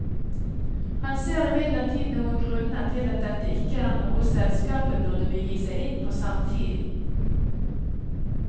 Han ser imidlertid noen grunner til at dette ikke er noe selskapet burde begi seg inn på samtidig.